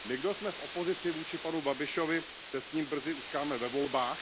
My, kdo jsme v opozici vůči panu Babišovi, se s ním brzy utkáme ve volbách.